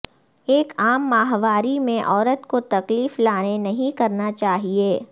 ایک عام ماہواری میں عورت کو تکلیف لانے نہیں کرنا چاہئے